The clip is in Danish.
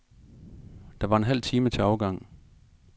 Der var en halv time til afgang.